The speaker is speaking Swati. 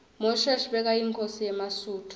mushoeshoe bekayinkhosi yemasuthu